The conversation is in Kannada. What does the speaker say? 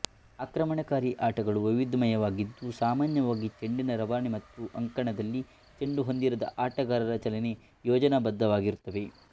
ಆಕ್ರಮಣಕಾರಿ ಆಟಗಳು ವೈವಿಧ್ಯಮಯವಾಗಿದ್ದು ಸಾಮಾನ್ಯವಾಗಿ ಚೆಂಡಿನ ರವಾನೆ ಮತ್ತು ಅಂಕಣದಲ್ಲಿ ಚೆಂಡು ಹೊಂದಿರದ ಆಟಗಾರರ ಚಲನೆ ಯೋಜನಾಬದ್ಧವಾಗಿರುತ್ತವೆ